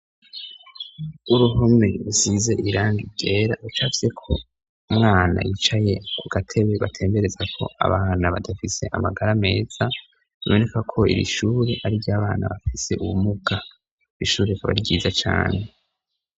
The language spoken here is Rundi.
uruhome rusize irangi byera ucavyeko umwana yicaye ku gatebe batembereza ko abana badafise amagara meza bibonekako iri ishuri ary'abana bafise ubumuka ishuri akaba ari ryiza cyane